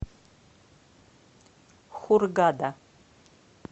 хургада